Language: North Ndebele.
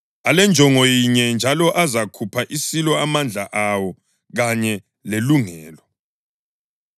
Alenjongo yinye njalo azakupha isilo amandla awo kanye lelungelo.